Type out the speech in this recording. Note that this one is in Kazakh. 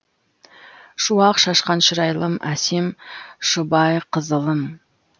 шуақ шашқан шырайлым әсем шұбайқызылым